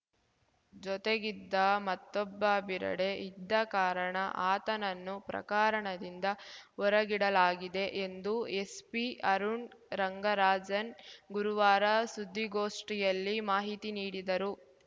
ಜೊತೆಗಿದ್ದ ಮತ್ತೊಬ್ಬ ಬೆರೆಡೆ ಇದ್ದ ಕಾರಣ ಆತನನ್ನು ಪ್ರಕಾರಣದಿಂದ ಹೊರಗಿಡಲಾಗಿದೆ ಎಂದು ಎಸ್ಪಿ ಅರುಣ್‌ ರಂಗರಾಜನ್‌ ಗುರುವಾರ ಸುದ್ದಿಗೋಷ್ಠಿಯಲ್ಲಿ ಮಾಹಿತಿ ನೀಡಿದರು